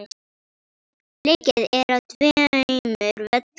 Leikið er á tveimur völlum.